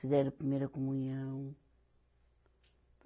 Fizeram a primeira comunhão.